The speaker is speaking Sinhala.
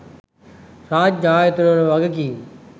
රාජ්‍ය ආයතන වල වගකීම්